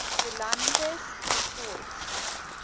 elands du toits